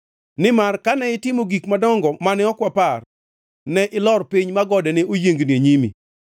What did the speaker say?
Nimar kane itimo gik madongo mane ok wapar, ne ilor piny ma gode ne oyiengni e nyimi,